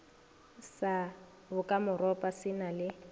sa bokamoropa se na le